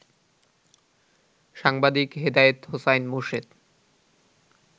সাংবাদিক হেদায়েত হোসাইন মোরশেদ